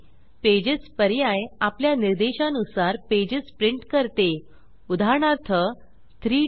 pages pages पर्याय आपल्या निर्देशा नुसार पेजेस प्रिंट करते उदाहरणार्थ 3 4